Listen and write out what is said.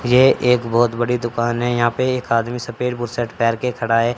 ये एक बहोत बड़ी दुकान है यहां पे एक आदमी सफेद बु शर्ट पेहर के खड़ा है।